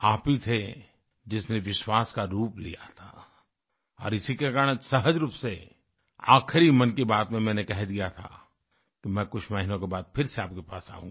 आप ही थे जिसने विश्वास का रूप लिया था और इसी के कारण सहज रूप से आख़िरी मन की बात में मैंने कह दिया था कि मैं कुछ महीनों के बाद फिर आपके पास आऊँगा